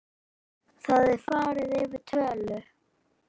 Þá er farið yfir tölur.